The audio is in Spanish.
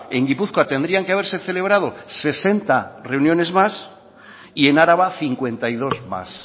en gipuzkoa tendrían que haberse celebrado sesenta reuniones más y en araba cincuenta y dos más